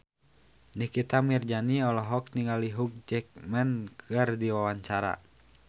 Nikita Mirzani olohok ningali Hugh Jackman keur diwawancara